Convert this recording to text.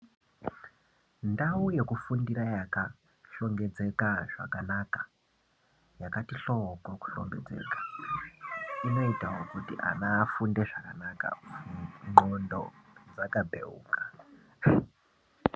Ndau yekufundira yakashongedzeka zvakanaka yakati hlooo kuhlongedzeka inoitawo kuti ana afunde zvakanaka ndxondo dzakabheuka.